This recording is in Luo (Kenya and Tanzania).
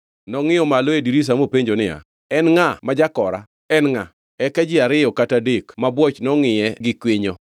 Nongʼiyo malo e dirisa mopenjo niya, “En ngʼa ma jakora? En ngʼa?” Eka ji ariyo kata adek mabwoch nongʼiye gi kwinyo.